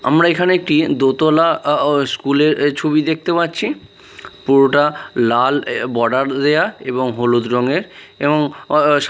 আমরা এখানে একটি দোতলা স্কুলের ছবি দেখতে পাচ্ছি পুরোটা লাল বর্ডার দেওয়া এবং হলুদ রঙের এবং --